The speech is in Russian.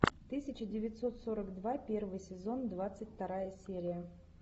тысяча девятьсот сорок два первый сезон двадцать вторая серия